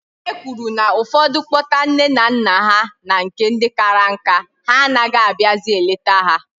E kwuru na ụfọdụ kpọta nne na nna ha na nke ndị kara nka, ha anaghị abịazị eleta ha.